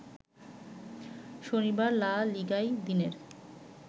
শনিবার লা লিগায় দিনের